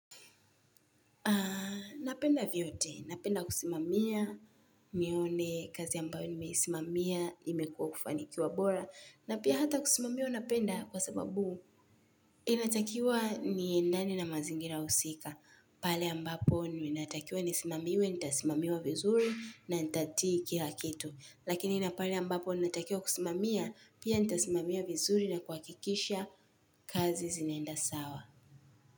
Napenda vyote, napenda kusimamia, nione kazi ambayo nimeisimamia, imekuwa kufanikiwa bora, na pia hata kusimamiwa napenda kwa sababu inatakiwa niendane na mazingira husika, pale ambapo inatakiwa nisimamiwe, nitasimamiwa vizuri na nitatii kila kitu, lakini na pale ambapo ninatakiwa kusimamia, pia nitasimamia vizuri na kuhakikisha kazi zinaenda sawa.